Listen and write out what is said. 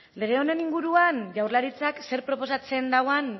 lege honen inguruan jaurlaritzak zer proposatzen duen